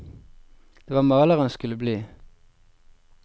Det var maler han skulle bli.